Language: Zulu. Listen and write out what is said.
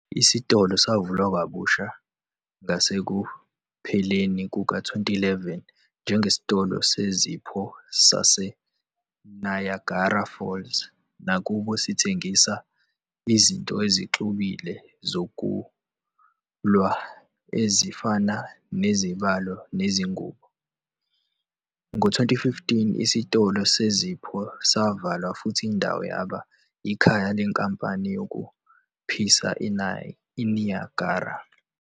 Isitolo savulwa kabusha ngasekupheleni kuka-2011 njengesitolo sezipho sase-Niagara Falls, nakuba sithengisa izinto ezixubile zokulwa ezifana nezibalo nezingubo. Ngo-2015, isitolo sezipho savalwa futhi indawo yaba ikhaya leNkampani yokuphisa iNiagara.